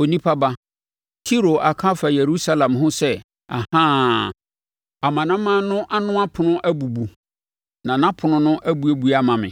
“Onipa ba, Tiro aka afa Yerusalem ho sɛ ‘Ahaa! Amanaman no ano ɛpono abubu na nʼapono no abuebue ama me;